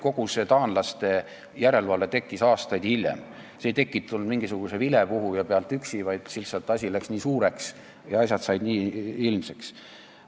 Kogu taanlaste järelevalve tekkis aastaid hiljem, see ei tekkinud mingisuguse vilepuhuja tõttu üksi, vaid lihtsalt asjad läksid nii suureks ja said nii ilmsiks.